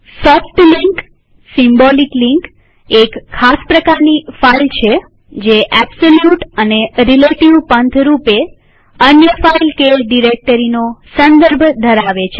soft link symbolic link એક ખાસ પ્રકારની ફાઈલ છે જે એબ્સોલ્યુટ કે રીલેટીવ પંથ રૂપે અન્ય ફાઈલ કે ડિરેક્ટરીનો સંદર્ભ ધરાવે છે